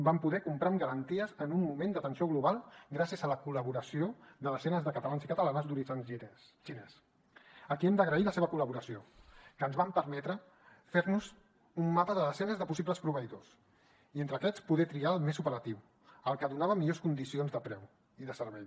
vam poder comprar amb garanties en un moment d’atenció global gràcies a la col·laboració de desenes de catalans i catalanes d’origen xinès a qui hem d’agrair la seva col·laboració que ens van permetre fer nos un mapa de desenes de possibles proveïdors i entre aquests poder triar el més operatiu el que donava millors condicions de preu i de servei